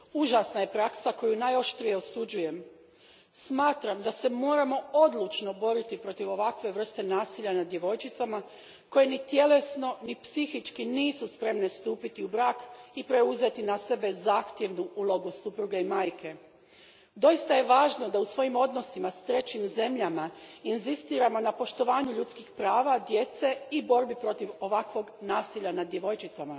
Gospodine predsjedniče, prerana udaja djevojčica uz prisilu užasna je praksa koju najoštrije osuđujem. Smatram da se moramo odlučno boriti protiv ovakve vrste nasilja nad djevojčicama koje ni tjelesno ni psihički nisu spremne stupiti u brak i preuzeti na sebe zahtjevnu ulogu supruge i majke. Doista je važno da u svojim odnosima s trećim zemljama inzistiramo na poštovanju ljudskih prava djece i borbi protiv ovakvog nasilja nad djevojčicama.